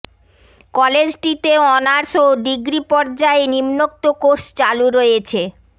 কলেজটিতে honours ও degree পর্যায়ে নিম্নোক্ত কোর্স চালু রয়েছে